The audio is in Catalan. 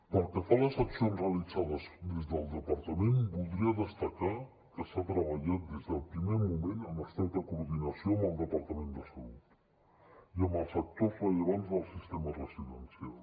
pel que fa a les accions realitzades des del departament voldria destacar que s’ha treballat des del primer moment en estreta coordinació amb el departament de salut i amb els actors rellevants del sistema residencial